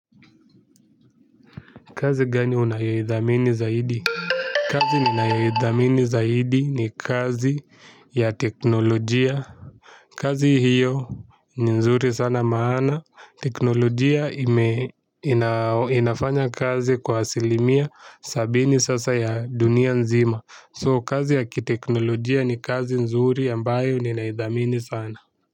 Kazi gani unayoithamini zaidi? Kazi ninaayathamini zaidi ni kazi ya teknolojia. Kazi hio ni nzuri sana maana. Teknolojia inafanya kazi kwa asilimia sabini sasa ya dunia nzima. So kazi ya kiteknolojia ni kazi nzuri ambayo ninaithamini sana.